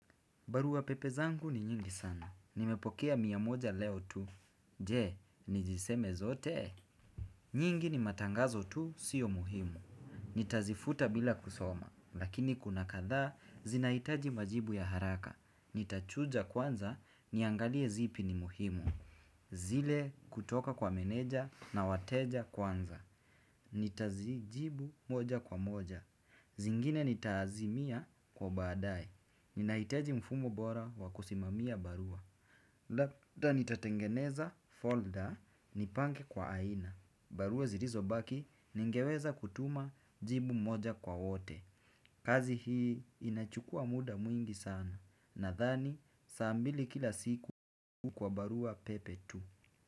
Barua pepe zangu ni nyingi sana. Nimepokea mia moja leo tu. Je, niziseme zote? Nyingi ni matangazo tu sio muhimu. Nitazifuta bila kusoma. Lakini kuna kadhaa, zinahitaji majibu ya haraka. Nitachunja kwanza, niangalie zipi ni muhimu. Zile kutoka kwa meneja na wateja kwanza. Nitazijibu moja kwa moja. Zingine nitaazimia kwa baadae. Ninahitaji mfumo bora wa kusimamia barua. Labda nitatengeneza folder nipange kwa aina. Barua zilizobaki ningeweza kutuma jibu moja kwa wote. Kazi hii inachukua muda mwingi sana. Nadhani saa mbili kila siku kwa barua pepe tu.